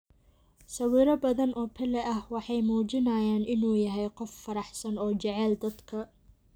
Sawiro badan oo Pele ah waxay muujinayaan inuu yahay qof faraxsan oo jecel dadka.